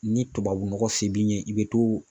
Ni tubabu nɔgɔ f'i b'i ɲɛ i bɛ to.